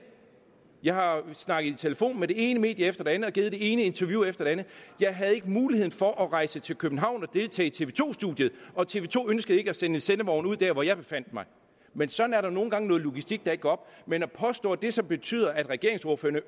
jeg har snakket i telefon med det ene medie efter det andet og givet det ene interview efter det andet jeg havde ikke mulighed for at rejse til københavn og deltage i tv to studiet og tv to ønskede ikke at sende en sendevogn ud der hvor jeg befandt mig men sådan er der nogle gange noget logistik der ikke går op men at påstå at det så betyder at regeringsordførerne